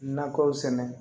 Nakɔw sɛnɛ